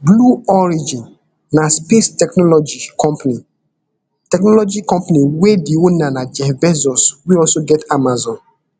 blue origin na space technology company technology company wey di owner na jeff bezos wey also get amazon